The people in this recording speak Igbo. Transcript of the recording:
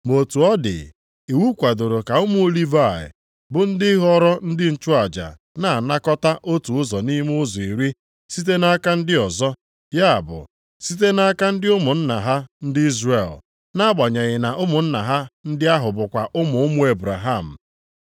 Ma otu ọ dị, iwu kwadoro ka ụmụ Livayị bụ ndị ghọrọ ndị nchụaja na-anakọta otu ụzọ nʼime ụzọ iri site nʼaka ndị ọzọ, ya bụ, site nʼaka ndị ụmụnna ha ndị Izrel, nʼagbanyeghị na ụmụnna ha ndị ahụ bụkwa ụmụ ụmụ Ebraham.